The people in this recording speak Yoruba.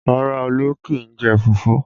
Rárá, Olu kì í jẹ fufu.